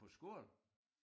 På skole